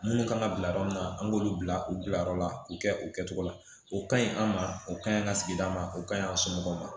Minnu kan ka bila yɔrɔ min na an k'olu bila u bilayɔrɔ la u kɛ o kɛcogo la o ka ɲi an ma o kaɲi an ka sigida ma o ka ɲi an somɔgɔw ma